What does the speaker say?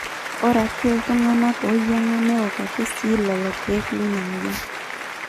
ore ake iltung'anak ooyiang'a neok ake sii lelo keek lina mweyian